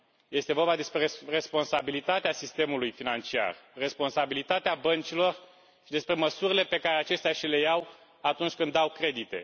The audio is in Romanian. Este vorba despre responsabilitatea sistemului financiar, responsabilitatea băncilor și despre măsurile pe care acestea și le iau atunci când au credite.